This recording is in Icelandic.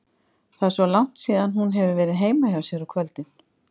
Það er svo langt síðan hún hefur verið heima hjá sér á kvöldin.